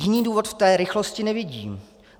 Jiný důvod v té rychlosti nevidím.